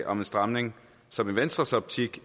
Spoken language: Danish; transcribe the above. om en stramning som i venstres optik